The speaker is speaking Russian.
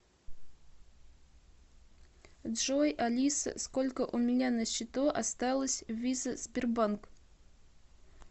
джой алиса сколько у меня на счету осталось виза сбербанк